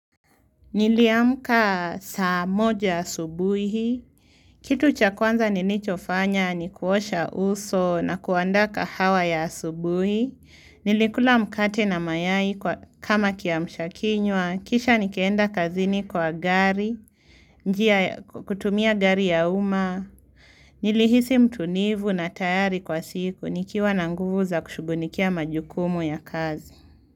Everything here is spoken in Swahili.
Niliamka saa moja asubuhi, kitu cha kwanza nilicho fanya ni kuosha uso na kuandaa kahawa ya asubuhi, nilikula mkate na mayai kama kiamshakiywa, kisha nikeenda kazini kwa gari, kutumia gari ya uma, nilihisi mtulivu na tayari kwa siku, nikiwa na nguvu za kushugulikia majukumu ya kazi.